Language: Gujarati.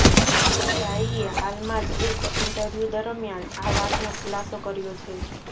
સાઇએ હાલમાં જ એક ઇન્ટરવ્યુ દરમિયાન આ વાતનો ખુલાસો કર્યો છે